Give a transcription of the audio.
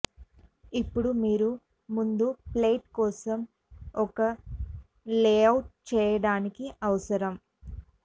ఇప్పుడు మీరు ముందు ప్లేట్ కోసం ఒక లేఅవుట్ చేయడానికి అవసరం